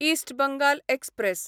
इस्ट Bengal express